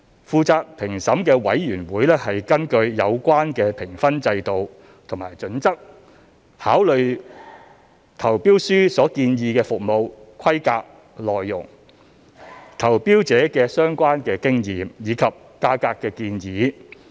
負責評審的委員會根據有關的評分制度和準則考慮了投標書所建議的服務規格內容、投標者的相關經驗，以及價格建議。